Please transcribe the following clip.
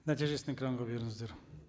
нәтижесін экранға беріңіздер